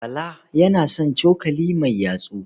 Bala yana son cokali mai yatsu.